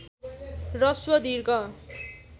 ह्रस्व दीर्घ